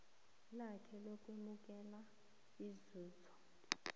lakhe lokwamukela inzuzo